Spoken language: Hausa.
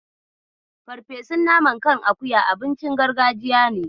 Farfesun naman kan akuya abinci gargajiya ne.